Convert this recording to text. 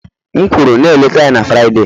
M kwuru na-eleta ya na Fraịde